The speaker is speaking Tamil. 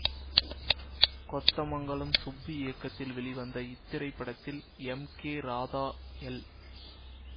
கொத்தமங்கலம் சுப்பு இயக்கத்தில் வெளிவந்த இத்திரைப்படத்தில் எம் கே ராதா எல்